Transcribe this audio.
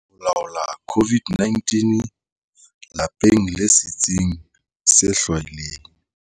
Ho laola COVID-19- Lapeng le setsing se hlwahilweng